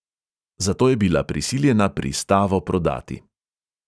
Zato je bila prisiljena pristavo prodati.